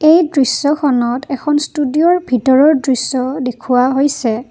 এই দৃশ্যখনত এখন ষ্টুডিঅ'ৰ ভিতৰৰ দৃশ্য দেখুৱা হৈছে।